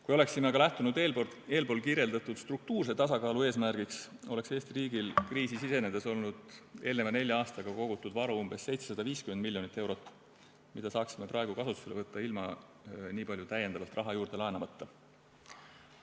Kui oleksime aga lähtunud eespool kirjeldatud struktuurse tasakaalu eesmärgist, oleks Eesti riigil kriisi sisenedes olnud eelneva nelja aastaga kogutud varu umbes 750 miljonit eurot, mida saaksime praegu kasutusele võtta ilma nii palju täiendavalt raha juurde laenamata.